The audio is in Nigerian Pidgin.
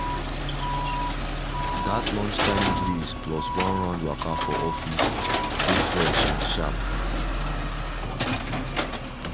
that lunchtime breeze plus one round waka for office side dey fresh and sharp.